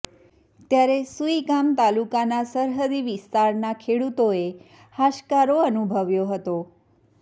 ત્યારે સુઇગામ તાલુકાના સરહદી વિસ્તારના ખેડૂતોએ હાશકારો અનુભવ્યો હતો